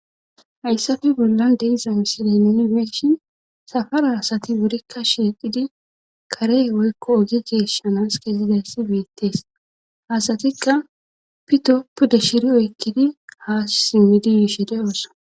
Hayssafe bollan deizamisiday neni beeshshi safara asati burikka shiiqidi kare woykko ogi geshanas keezidayssi biittees hasatikka pito pudde shiri oykkidi haa simmidi yshede oosa.